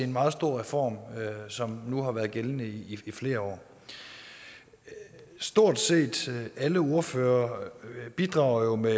meget stor reform som nu har været gældende i flere år stort set alle ordførere bidrager jo med